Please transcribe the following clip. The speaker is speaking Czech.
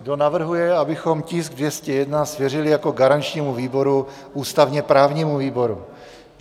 Kdo navrhuje, abychom tisk 201 svěřili jako garančnímu výboru ústavně-právnímu výboru?